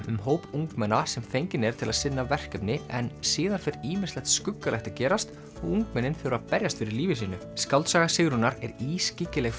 um hóp ungmenna sem fenginn er til að sinna verkefni en síðan fer ýmislegt skuggalegt að gerast og ungmennin þurfa að berjast fyrir lífi sínu skáldsaga Sigrúnar er ískyggileg